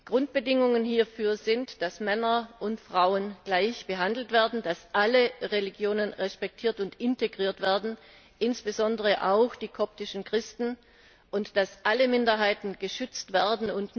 Grundbedingungen hierfür sind, dass Männer und Frauen gleich behandelt werden, dass alle Religionen respektiert und integriert werden insbesondere auch die koptischen Christen und dass alle Minderheiten geschützt werden.